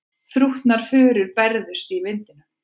Þrútnar furur bærðust í vindinum.